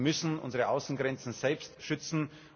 Wir müssen unsere Außengrenzen selbst schützen.